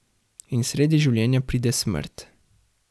In sredi življenja pride smrt.